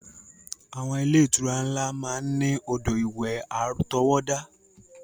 Àwọn ilé-ìtura ńlá máa ń ní odò ìwẹ̀ àtọwọ́dá.